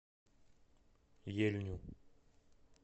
ельню